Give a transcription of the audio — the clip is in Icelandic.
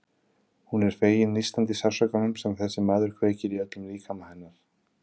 Hún er fegin nístandi sársaukanum sem þessi maður kveikir í öllum líkama hennar.